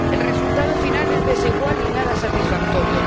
El resultado final es desigual y nada satisfactorio